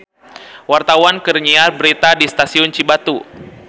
Wartawan keur nyiar berita di Stasiun Cibatu